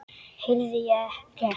Heyrði ég rétt.